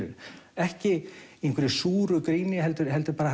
ekki einhverju súru gríni heldur heldur bara